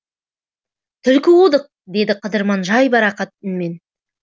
түлкі қудық деді қыдырман жайбарақат үнмен